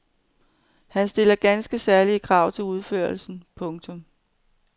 Han stiller ganske særlige krav til udførelsen. punktum